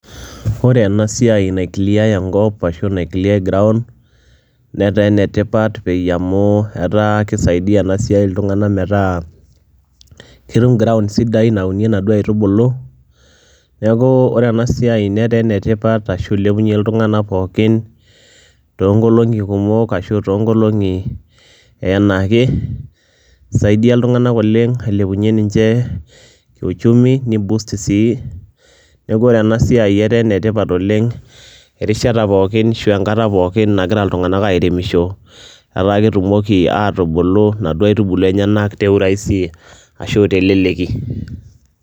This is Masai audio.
Ore enasia na cleai enkopnetaa enetipat amu kisaidia ltunganak metaa ketum ground sidai naunie nkaitubulu neaku ore enasiainetaa enetipat nilepunye ltunganak pookin tonkolongi kumok ashu tonkolongi enaake ,isaidia ltunganak oleng ailepunye ni boost uchumi neaku ore enasai na enetipat oleng erishata pookin nagira ltunganak arememisho ata ketumoki naduo aitubulu atubulu teleleki.